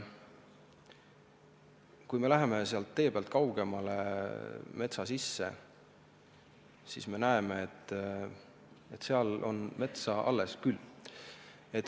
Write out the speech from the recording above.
Kui me läheme tee pealt kaugemale, siis näeme, et seal on metsa alles küll.